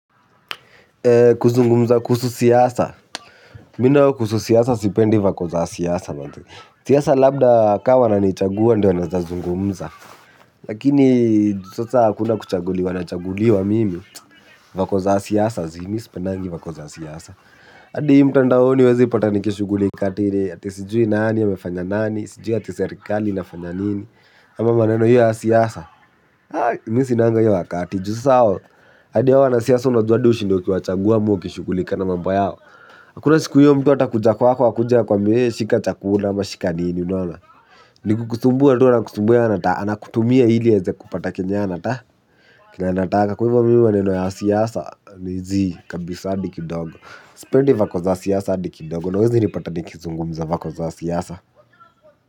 Kuzungumza kuhusu siasa. Mimi nayo kuhusu siasa sipendi vako za siasa. Siasa labda kama wananichagua ndio naweza zungumza. Lakini ju sasa hakuna kuchaguliwa na chaguliwa mimi vako za siyasa zi. Sipendagi vako za siasa. Adi hii mtandaoni uwezi nipata nikishugulika eti. Sijui nani amefanya nani. Eti sijui eti serikali inafanya nini. Ama maneno iyo ya siasa. Mimi sinanga iyo wakati ju sasa hao adi hao wanasiasa unajua ua unashinda ukiwachagua ama ukishughulika na mambo yao. Akuna siku huyo mtu atakuja kwako akuja kwa akuambie shika chakula unashika nini. Nikukusumbua tu anakusumbua, anakutumia ili aweze kupata kenye yeye anata kenye anataka kwa hivyo mimi maneno ya siasa, ni zi kabisa adi kidogo. Sipendi vako za siasa adi kidogo, na uwezi nilipata nikizungumza vako za siasa.